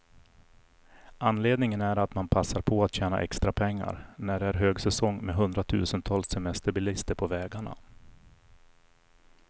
Anledningen är att man passar på att tjäna extra pengar, när det är högsäsong med hundratusentals semesterbilister på vägarna.